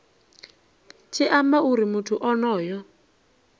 tshi amba uri muthu onoyo